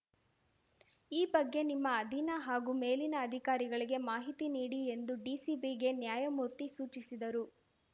ಈ ಬಗ್ಗೆ ನಿಮ್ಮ ಅಧೀನ ಹಾಗೂ ಮೇಲಿನ ಅಧಿಕಾರಿಗಳಿಗೆ ಮಾಹಿತಿ ನೀಡಿ ಎಂದು ಡಿಸಿಪಿಗೆ ನ್ಯಾಯಮೂರ್ತಿ ಸೂಚಿಸಿದರು